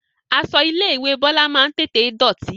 Aṣọ ilé ìwé Bọlá máa ń tètè dọ̀tí